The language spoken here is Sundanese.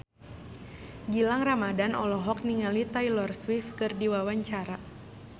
Gilang Ramadan olohok ningali Taylor Swift keur diwawancara